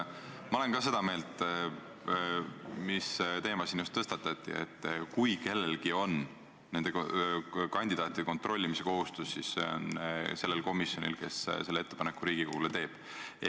Ka mina olen seda meelt, mis puudutab seda teema, mis siin just tõstatati, et kui kellelgi on nende kandidaatide kontrollimise kohustus, siis on selleks komisjon, kes selle ettepaneku Riigikogule teeb.